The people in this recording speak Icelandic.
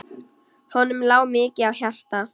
Honum lá mikið á hjarta.